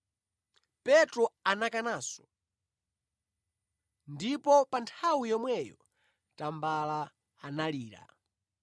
Petro anakananso, ndipo pa nthawi yomweyo tambala analira.